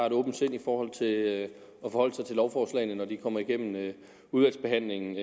et åbent sind i forhold til at forholde sig til lovforslagene når de kommer igennem udvalgsbehandlingen